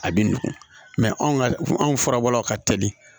A bɛ nugu mɛ anw ka anw furabɔlaw ka teli